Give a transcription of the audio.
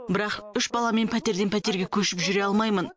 бірақ үш баламмен пәтерден пәтерге көшіп жүре алмаймын